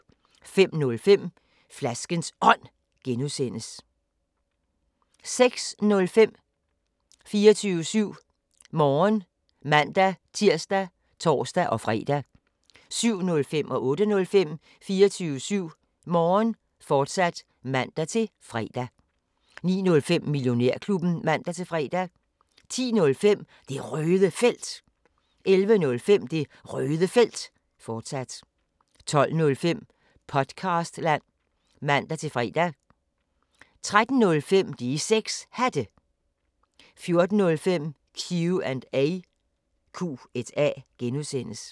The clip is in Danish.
05:05: Flaskens Ånd (G) 06:05: 24syv Morgen (man-tir og tor-fre) 07:05: 24syv Morgen, fortsat (man-fre) 08:05: 24syv Morgen, fortsat (man-fre) 09:05: Millionærklubben (man-fre) 10:05: Det Røde Felt 11:05: Det Røde Felt, fortsat 12:05: Podcastland (man-fre) 13:05: De 6 Hatte 14:05: Q&A (G)